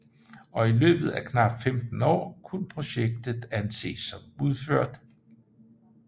Og i løbet af knapt 15 år kunne projektet anses som udført